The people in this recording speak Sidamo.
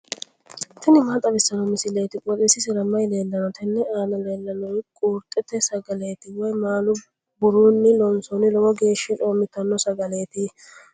tini maa xawissanno misileeti? qooxeessisera may leellanno? tenne aana leellannori qurxete sagaleeti woy maalu burunni loonsoonni lowo geeshsha coommitanno sagaleeti.